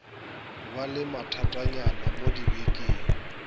ba le mathatanyana mo dibekeng